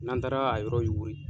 N'an taara a yɔrɔ yuwiri